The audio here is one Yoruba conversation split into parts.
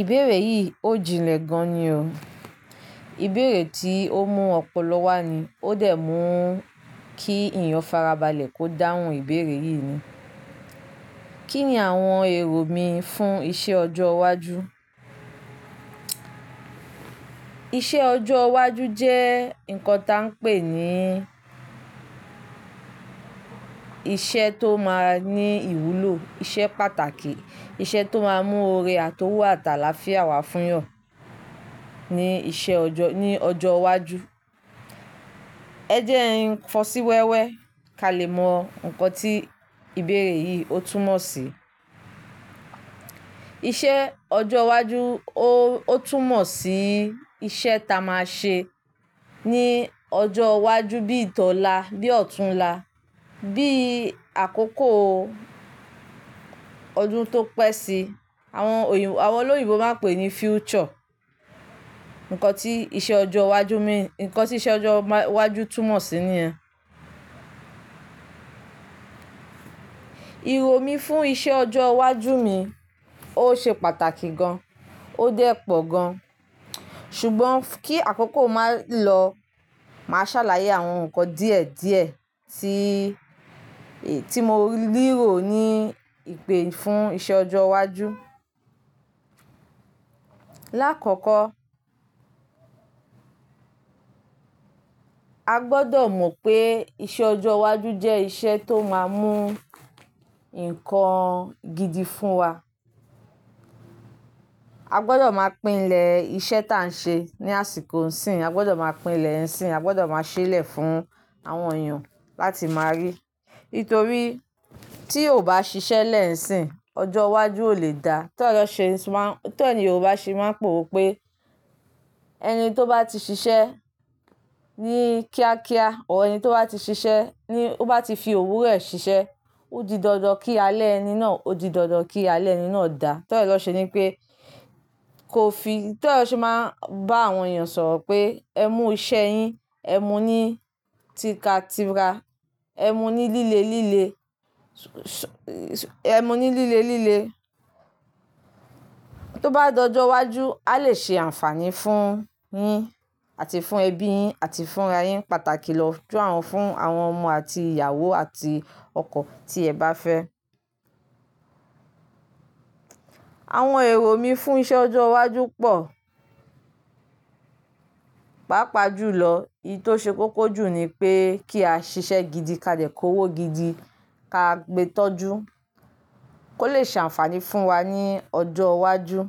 Ìbéèrè yìí ò jinlẹ̀ gan ni o. Ìbéèrè tí ó mú ọpọlọ wá ni ó dẹ̀ mú kí èèyàn farabalẹ̀ kó dáhùn ìbéèrè yìí ni. Kí ni àwọn èrò mi fún ìṣe ọjọ́ iwájú? Iṣẹ́ ọjọ́ iwájú jẹ́ nǹkan tí a ń pè ní iṣẹ́ tó máa ní ìwúlò, iṣẹ́ pàtàkì, iṣẹ́ tó máa mú oore àti owó àtàlà fia wá fún Yàn ní iṣẹ́ ọjọ́, ní ọjọ́ iwájú. Ẹ jẹ́ ẹ ń fọ́sí wẹ́wẹ́ kalẹ̀ mọ nǹkan tí ìbéèrè yìí ó túmọ̀ sí. Iṣẹ́ ọjọ́ iwájú ó, ó túmọ̀ sí iṣẹ́ ta máa ṣe ní ọjọ́ iwájú bíi tọ́la, bíi ọ̀tunla, bíi àkókò ọdún tó pẹ́ sí i. Àwọn oyin, àwọn olóyìnbo máa ń pè ní future. Nǹkan tí iṣẹ́ ọjọ́ iwájú mi, nǹkan tí iṣẹ́ ọjọ́ má, iwájú túmọ̀ sí ni ẹ́. Èrò mi fún iṣẹ́ ọjọ́ iwájú mi ó ṣe pàtàkì gan, ó dẹ́pọ̀ gan. Ṣùgbọ́n kí àkókò máa lọ, màá ṣàlàyé àwọn nǹkan díẹ̀ díẹ̀ tí, tí mo ríro ni ìpè fún iṣẹ́ ọjọ́ iwájú. Láàkọ́kọ́, a gbọdọ̀ mọ̀ pé iṣẹ́ ọjọ́ iwájú jẹ́ iṣẹ́ tó máa mú nǹkan gidi fún wa. A gbọdọ̀ máa pínlẹ̀ iṣẹ́ ta ń ṣe ní àsìkò ńsìn, a gbọdọ̀ máa pínlẹ̀ ẹ̀sìn, a gbọ́dọ̀ máa ṣẹlẹ̀ fún àwọn èèyàn láti máa rí. Nítorí tí ò bá ṣiṣẹ́ lẹ́ sìn, ọjọ́ iwájú ò lè da. Torí ẹ lọ ṣe má, torí ẹ ni yorùbá ṣe máa ń pa òwe pé ẹni tó bá ti ṣiṣẹ́ ní kíá kíá, or ẹni tó bá ti ṣiṣẹ́ ní ó bá ti fi òwú rẹ̀ ṣiṣẹ́, ó di dandan kí alẹ́ ẹni náà, ó di dandan kí alẹ́ ẹni náà dà. Torí ẹ ni won se wí pé kò fi, torí ẹ lọ ṣe máa ń bá àwọn èèyàn sọ̀rọ̀ pé ẹ mú iṣẹ́ yín, ẹ mú ní tíka tíra, ẹ mú ní líle líle, ẹ mú ní líle líle. Tó bá di ọjọ́ iwájú, a lè ṣe àǹfààní fún yín àti fún ẹbí yín àti fún ra yín pàtàkì lọ jú àwọn, fún àwọn ọmọ àti ìyàwó àti ọkọ tí ẹ bá fẹ́. Àwọn èrò mi fún iṣẹ́ ọjọ́ iwájú pọ̀. Pàápàá jù lọ, èyí tó ṣe kó kójú ni pé kí a ṣiṣẹ́ gidi, ká dẹ́ kó wó gidi, ká gbe tọ́jú kó lè ṣe àǹfààní fún wa ní ọjọ́ iwájú.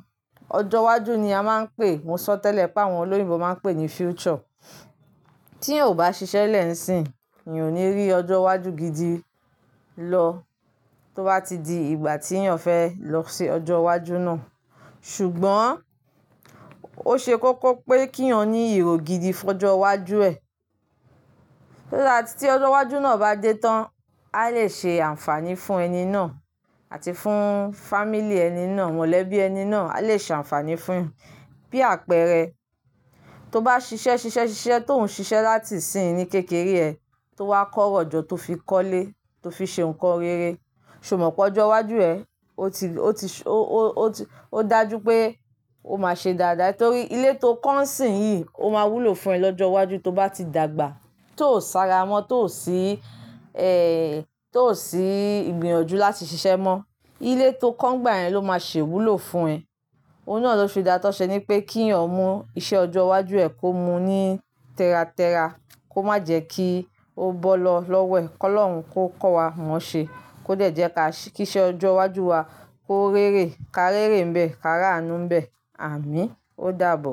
Ọjọ́ iwájú ni a máa ń pè, mo sọ tẹ́lẹ̀ pé àwọn olóyìnbo máa ń pè ní future. Tí ò bá ṣiṣẹ́ lẹ́ ẹ̀sìn, ì ò ní rí ọjọ́ iwájú gidi lọ tó bá ti di ìgbà tí yàn fẹ́ lọ ṣe ọjọ́ iwájú náà. Ṣùgbọ́n ó ṣe kókó pé kí yàn ní èrò gidi fún ọjọ́ iwájú ẹ. Lóòlà tí ọjọ́ iwájú náà bá dé tán, a lè ṣe àǹfààní fún ẹni náà àti fún family ẹni náà, mọ̀lẹ́bí ẹni náà, a lè ṣe àǹfààní fún un. Bí àpẹẹrẹ, tó bá ṣiṣẹ́ ṣiṣẹ́ ṣiṣẹ́ tó ń ṣiṣẹ́ láti ìsìnyí ní kékeré ẹ, tó wá kọ́rọ̀ jọ tó fi kọ́lé, tó fi ṣe nǹkan rere, ṣé o mọ̀ pé ọjọ́ iwájú ẹ, ó ti, ó ti ṣe, ó, ó ti, ó dájú pé o máa ṣe dáadáa. Nítorí ilé tó kọ́ ńsìn yìí ó máa wúlò fún ẹ lọ́jọ́ iwájú tó bá ti dàgbà. Tó sáárọ́ mọ́, tó ò sí ẹ, tó ò sí ìgbìyànjú láti ṣiṣẹ́ mọ́. Ilé tó kọ́ǹ gbà ẹ́ ló máa ṣe wúlò fún ẹ. Ohun náà ló fi dáto. Ṣe ni pé kí yàn mú iṣẹ́ ọjọ́ iwájú ẹ kó mu ní tẹ́ra tẹ́ra, kó má jẹ́ kí ó bọ́ lọ lọ́wẹ̀. Kọ́lọ́run kó kọ́ wa móṣe, kó dẹ̀jẹ́ ká, kí iṣẹ́ ọjọ́ iwájú wa kó réré, ká réré ńbẹ, ká rà áànú ńbẹ. Àmín. Ó dàbọ̀.